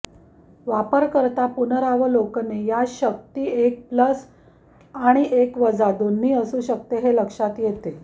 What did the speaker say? वापरकर्ता पुनरावलोकने या शक्ती एक प्लस आणि एक वजा दोन्ही असू शकते हे लक्षात येते